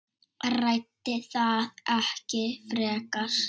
Ræddi það ekki frekar.